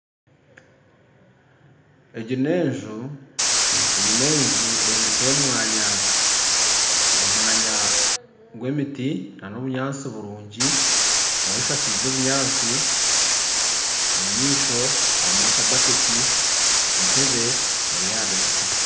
Egi n'enju egi n'enju eyombekire omu mwanya omu mwanya gw'emiti n'omunyatsi burungi nayo eshakaize obunyaasi omu maisho harimu akabaketi entebe eri aha dirisa